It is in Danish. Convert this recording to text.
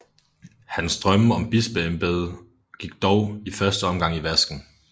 Hans drømme om et bispeembede gik dog i første omgang i vasken